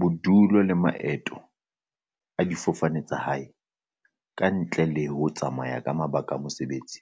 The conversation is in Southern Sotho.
Bodulo le maeto a difofane tsa lehae, ka ntle le ho tsamaya ka mabaka a mo-sebetsi,